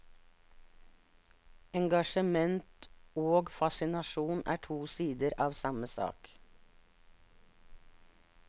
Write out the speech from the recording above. Engasjement og fascinasjon er to sider av samme sak.